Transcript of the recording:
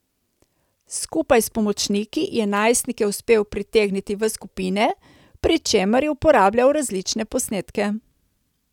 Skupaj s pomočniki je najstnike uspel pritegniti v skupine, pri čemer je uporabljal različne posnetke.